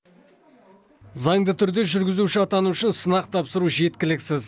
заңды түрде жүргізуші атану үшін сынақ тапсыру жеткіліксіз